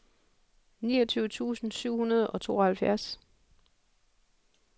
niogtyve tusind syv hundrede og tooghalvfjerds